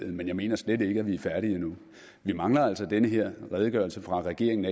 men jeg mener slet ikke at vi er færdige endnu vi mangler altså den her redegørelse fra regeringen